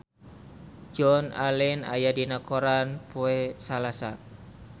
Joan Allen aya dina koran poe Salasa